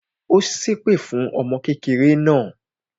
Ó ṣẹ́ èpè fún ọmọ kékeré náà